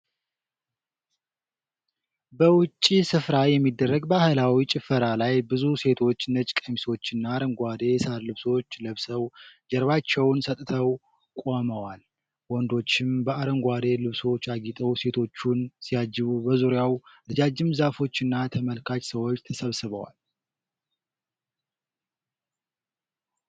በውጪ ስፍራ የሚደረግ ባህላዊ ጭፈራ ላይ ብዙ ሴቶች ነጭ ቀሚሶችና አረንጓዴ የሳር ልብሶች ለብሰው፣ ጀርባቸውን ሰጥተው ቆመዋል። ወንዶችም በአረንጓዴ ልብሶች አጊጠው ሴቶቹን ሲያጅቡ፣ በዙሪያው ረጃጅም ዛፎችና ተመልካች ሰዎች ተሰብስበዋል።